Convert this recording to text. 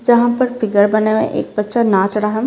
जहां पर फिगर बना हुआ एक बच्चा नाच रहा है।